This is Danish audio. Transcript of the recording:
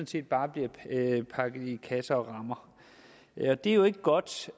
set bare bliver pakket i kasser og rammer det er jo ikke godt